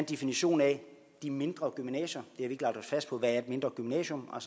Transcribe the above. definition af de mindre gymnasier vi ikke lagt os fast på hvad et mindre gymnasium er